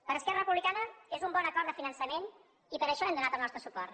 per esquerra republicana és un bon acord de finançament i per això hi hem donat el nostre suport